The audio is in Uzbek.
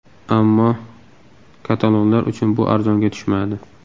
Ammo katalonlar uchun bu arzonga tushmadi.